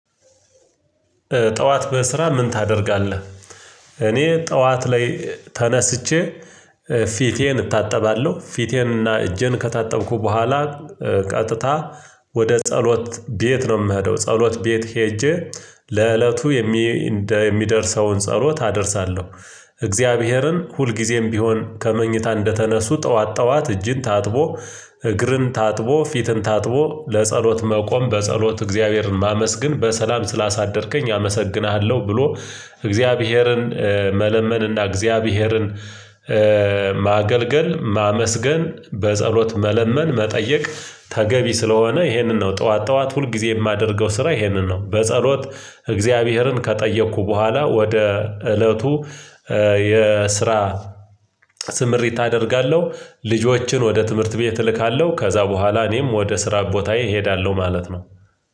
ጠዋት በስራ ምን ታደርጋለህ? እኔ ጠዋት ላይ ተነስቼ ፊቴን እታጠባለሁ ፊቴንና እጄን ከታጠብኩ በኋላ ቀጥታ ወደ ጸሎት ቤት ነው የምሄደው። ጸሎት ቤት ሄጄ ለእለቱ የሚ እንደሚደርሰውን ጸሎት አደርሳለሁ። እግዚአብሔርን ሁልጊዜም ቢሆን ከመኝታ እንደተነሱ ጠዋት ጠዋት እጅን ታጥቦ እግርን ታጥቦ ፊትን ታጥቦ ለጸሎት መቆም በጸሎት እግዚአብሔርን ማመስግን በሰላም ስላሳደርከኝ አመሰግንሃለሁ ብሎ እግዚአብሔርን መለመንና እግዚአብሔርን ማገልገል ማመስገን በጸሎት መለመን መጠየቅ ተገቢ ስለሆነ ይሄንን ነው ጠዋት ጠዋት ሁል ጊዜ የማደርገው። ስራ ይሄንን ነው በጸሎት እግዚአብሔርን ከጠየኩ በኋላ ወደ እለቱ የስራ ስምሪት አደርጋለሁ። ልጆችን ወደ ትምህርት ቤት እልካለሁ ከዛ በኋላ እኔም ወደ ስራ ቦታ እሄዳለሁ ማለት ነው።